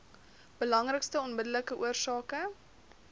belangrikste onmiddellike oorsake